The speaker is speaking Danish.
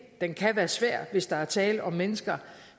den kan være svær hvis der er tale om mennesker